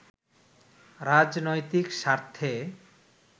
রাজনৈতিক স্বার্থে